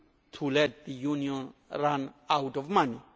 to let the Union run out of money.